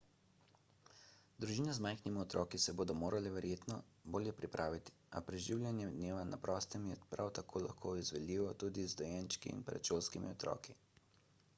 družine z majhnimi otroki se bodo morale verjetno bolje pripraviti a preživljanje dneva na prostem je prav tako lahko izvedljivo tudi z dojenčki in predšolskimi otroki